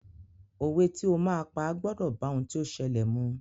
Òwe tí o máa pa gbọ́dọ̀ bá ohun tí ó ṣẹlẹ̀ mu.